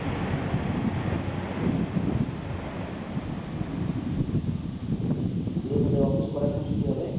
দিয়ে তোদের অফিস কটার সময় ছুটি হবে?